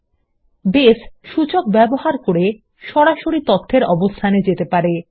সুতরাং বেস সূচক ব্যবহার করে সরাসরি তথ্যর অবস্থানে যেতে পারে